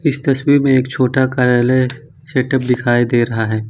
इस तस्वीर में एक छोटा कार्यालय सेट अप दिखाई दे रहा है।